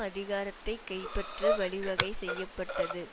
அதிகாரத்தை கைப்பற்ற வழிவகை செய்ய பட்டது